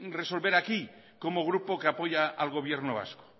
resolver aquí como grupo que apoya al gobierno vasco